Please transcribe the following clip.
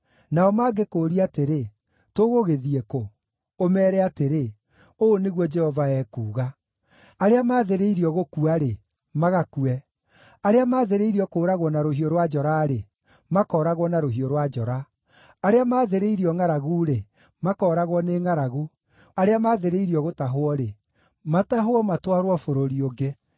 Nao mangĩkũũria atĩrĩ, ‘Tũgũgĩthiĩ kũ?’ Ũmeere atĩrĩ, ‘Ũũ nĩguo Jehova ekuuga: “ ‘Arĩa maathĩrĩirio gũkua-rĩ, magakue; arĩa maathĩrĩirio kũũragwo na rũhiũ rwa njora-rĩ, makooragwo na rũhiũ rwa njora; arĩa maathĩrĩirio ngʼaragu-rĩ, makooragwo nĩ ngʼaragu; arĩa maathĩrĩirio gũtahwo-rĩ, matahwo matwarwo bũrũri ũngĩ.’